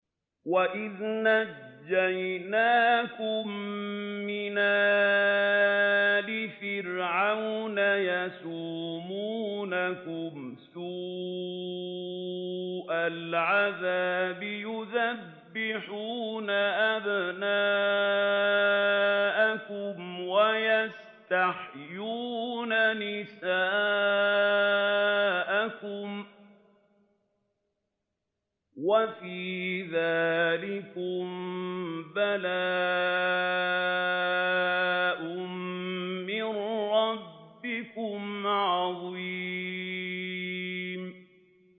وَإِذْ نَجَّيْنَاكُم مِّنْ آلِ فِرْعَوْنَ يَسُومُونَكُمْ سُوءَ الْعَذَابِ يُذَبِّحُونَ أَبْنَاءَكُمْ وَيَسْتَحْيُونَ نِسَاءَكُمْ ۚ وَفِي ذَٰلِكُم بَلَاءٌ مِّن رَّبِّكُمْ عَظِيمٌ